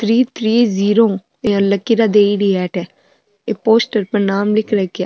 three three zero या लकीरा दियड़ी है अठ एक पोस्टर पर नाम लिखेड़ो है क्या --